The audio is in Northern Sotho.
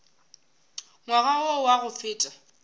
ngwaga wo wa go feta